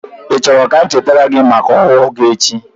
Ị chọrọ ka m chetara gị maka owo gi echi?